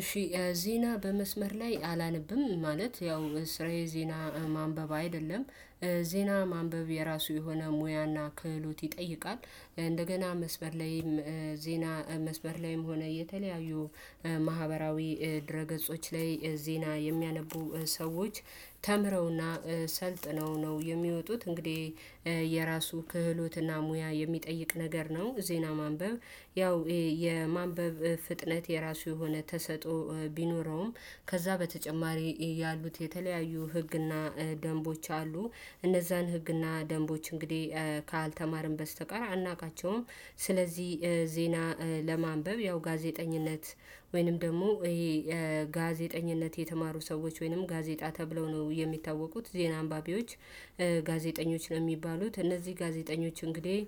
እሺ ዜና በመስመር ላይ አላነብም ማለት ያው ስራዬ ዜና ማንበብ አይደለም ዜና ማንበብ የራሱ የሆነ ሙያና ክህሎት ይጠይቃል። እንደገና መስበር ላይም ዜና መስበር ላይም ሆነ የተለያዩ ማህበራዊ ድረ ገጾች ላይ ዜና የሚያነቡ ሰዎች ተምረው እና ሰልጥነው ነው የሚወጡት። እንግዲህ የራሱ ክህሎት እና ሙያ የሚጠይቅ ነገር ነው። ዜና ማንበብ ያው የማንበብ ፍጥነት የራሱ የሆነ ተሰጦ ቢኖረውም ከዛ በተጨማሪ ያሉት የተለያዩ ህግ እና ደንቦች አሉ እነዛን ህግ እና ደንቦች እንግዲህ ካልተማርን በስተቀር አናውቃቸውም። ስለዚህ ዜና ለማንበብ ያው ጋዜጠኝነት ወይንም ደግሞ ይሄ ጋዜጠኝነት የተማሩ ሰዎች ወይንም ጋዜጣ ተብለው ነው የሚታወቁት ዜና አንባቢዎች። ጋዜጠኞች ነው የሚባሉት እነዚህ ጋዜጠኞች እንግዲህ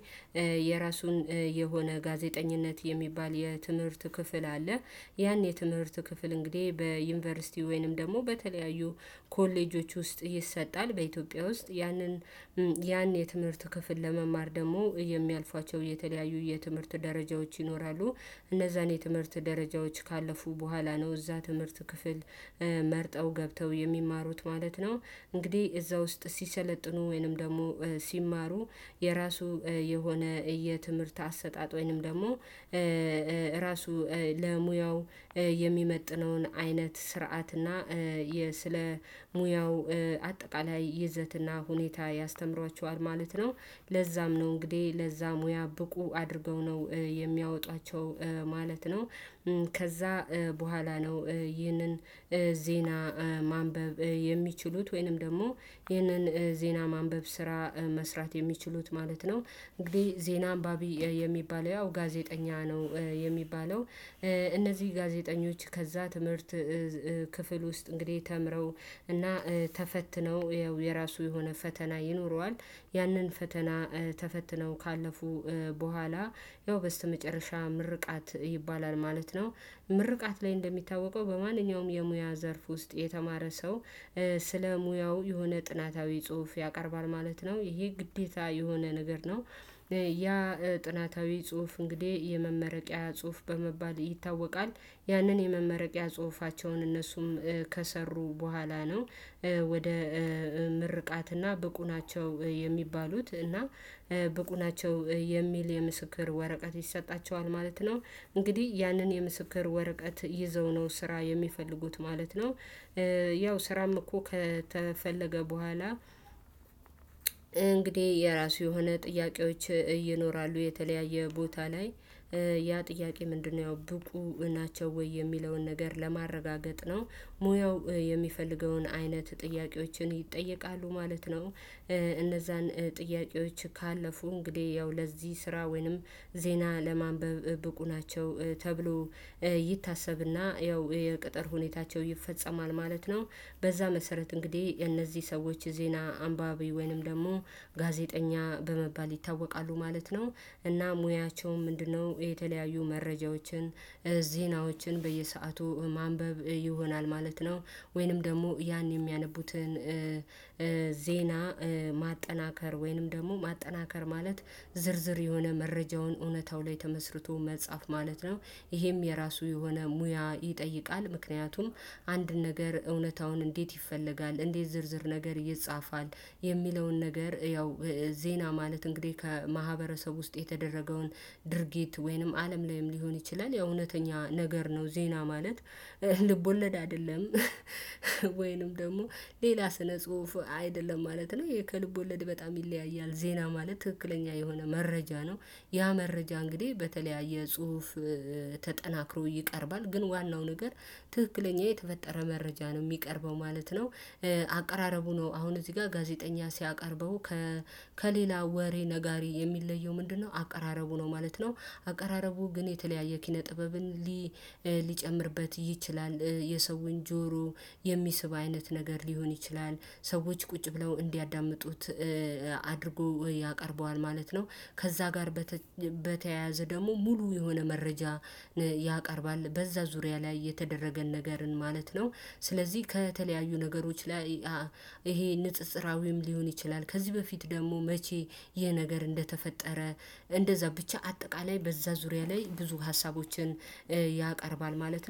የራሱን የሆነ ጋዜጠኝነት የሚባል የትምህርት ክፍል አለ። ያን የትምህርት ክፍል እንግዲህ በዩኒቨርሲቲ ወይንም ደግሞ በተለያዩ ኮሌጆች ውስጥ ይሰጣል። በኢትዮጵያ ውስጥ ያንን ያን የትምህርት ክፍል ለመማር ደግሞ የሚያልፏቸው የተለያዩ የትምህርት ደረጃዎች ይኖራሉ። እነዛን የትምህርት ደረጃዎች ካለፉ በኋላ ነው እዛ ትምህርት ክፍል መርጠው ገብተው የሚማሩት ማለት ነው። እንግዲህ እዛ ውስጥ ሲሰለጥኑ ወይንም ደግሞ ሲማሩ የራሱ የሆነ የትምህርት አሰጣጥ ወይንም ደግሞ ራሱ ለሙያው የሚመጥነውን አይነት ስርዓት እና የ ስለ ሙያው አጠቃላይ ይዘት እና ሁኔታ ያስተምሯቸዋል ማለት ነው። ለዛም ነው እንግዲህ ለዛ ሙያ ብቁ አድርገው ነው የሚያወጧቸው ማለት ነው። ከዛ በኋላ ነው ይህንን ዜና ማንበብ የሚችሉት ወይንም ደግሞ ይህንን ዜና ማንበብ ስራ መስራት የሚችሉት ማለት ነው። እንግዲህ ዜና አንባቢ የሚባለው ያው ጋዜጠኛ ነው የሚባለው። እነዚህ ጋዜጠኞች ከዛ ትምህርት ክፍል ውስጥ እንግዲህ ተምረው እና ተፈትነው ያው የራሱ የሆነ ፈተና ይኖረዋል ያንን ፈተና ተፈትነው ካለፉ በኋላ ያው በስተመጨረሻ ምርቃት ይባላል ማለት ነው። ምርቃት ላይ እንደሚታወቀው በማንኛውም የሙያ ዘርፍ ውስጥ የተማረ ሰው ስለ ሙያው የሆነ ጥናታዊ ጽሁፍ ያቀርባል ማለት ነው ይሄ ግዴታ የሆነ ነገር ነው። ያ ጥናታዊ ጽሁፍ እንግዲህ የመመረቂያ ጽሁፍ በመባል ይታወቃል። ያንን የመመረቂያ ጽሁፋቸውን እነሱም ከሰሩ በኋላ ነው ወደ ምርቃትና ብቁ ናቸው የሚባሉት እና ብቁ ናቸው የሚል የምስክር ወረቃት ይሰጣቸዋል ማለት ነው። እንግዲህ ያንን የምስክር ወረቀት ይዘው ነው ስራ የሚፈልጉት ማለት ነው። ያው ስራም እኮ ከተፈለገ በኋላ እንግዲህ የራሱ የሆነ ጥያቄዎች ይኖራሉ የተለያየ ቦታ ላይ ያ ጥያቄ ምንድነው? ያው ብቁ ናቸው ወይ የሚለውን ነገር ለማረጋገጥ ነው ሙያው የሚፈልገውን አይነት ጥያቄዎችን ይጠየቃሉ ማለት ነው። እነዛን ጥያቄዎች ካለፉ እንግዲህ ያው ለዚህ ስራ ወይንም ዜና ለማንበብ ብቁ ናቸው ተብሎ ይታሰብና ያው የቅጥር ሁኔታቸው ይፈጸማል ማለት ነው። በዛ መሰረት እንግዲህ እነዚህ ሰዎች ዜና አንባቢ ወይንም ደግሞ ጋዜጠኛ በመባል ይታወቃሉ ማለት ነው። እና ሙያቸውም ምንድነው? የተለያዩ መረጃዎችን ዜናዎችን በየሰአቱ ማንበብ ይሆናል ማለት ነው። ወይንም ደግሞ ያን የሚያነቡትን ዜና ማጠናከር ወይንም ደግሞ ማጠናከር ማለት ዝርዝር የሆነ መረጃውን እውነታው ላይ ተመስርቶ መጻፍ ማለት ነው። ይሄም የራሱ የሆነ ሙያ ይጠይቃል። ምክንያቱም አንድ ነገር እውነታውን እንዴት? ይፈለጋል? እንዴት ዝርዝር ነገር ይጻፋል። የሚለውን ነገር ያው ዜና ማለት እንግዲህ ከማህበረሰብ ውስጥ የተደረገውን ድርጊት ወይንም አለም ላይም ሊሆን ይችላል የእውነተኛ ነገር ነው። ዜና ማለት ልቦለድ አይደለም። ወይንም ደግሞ ሌላ ስነ ጽሁፍ አይደለም ማለት ነው። ይህ ከልቦለድ ወለድ በጣም ይለያያል ዜና ማለት ትክክለኛ የሆነ መረጃ ነው። ያ መረጃ እንግዲህ በተለያየ ጽሁፍ ተጠናክሮ ይቀርባል ግን ዋናው ነገር ትክክለኛ የተፈጠረ መረጃ ነው ሚቀርበው ማለት ነው። አቀራረቡ ነው አሁን እዚህ ጋር ጋዜጠኛ ሲያቀርበው ከሌላ ወሬ ነጋሪ የሚለየው ምንድነው? አቀራረቡ ነው ማለት ነው። አቀራረቡ ግን የተለያየ ኪነ ጥበብን ሊጨምርበት ይችላል። የሰውን ጆሮ የሚስብ አይነት ነገር ሊሆን ይችላል። ሰዎች ቁጭ ብለው እንዲያዳምጡት አድርጎ ያቀርበዋል ማለት ነው። ከዛ ጋር በተያያዘ ደግሞ ሙሉ የሆነ መረጃ ያቀርባል በዛ ዙሪያ ላይ የተደረገን ነገርን ማለት ነው። ስለዚህ ከተለያዩ ነገሮች ላይ ይሄ ንጽጽራዊም ሊሆን ይችላል። ከዚህ በፊት ደግሞ መቼ? ይሄ ነገር እንደተፈጠረ እንደዛ ብቻ አጠቃላይ በዛ ዙሪያ ላይ ብዙ ሀሳቦችን ያቀርባል ማለት ነው